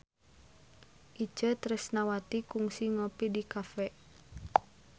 Itje Tresnawati kungsi ngopi di cafe